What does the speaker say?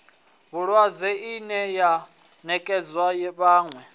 vhulwadze ine ya nekedzwa vhane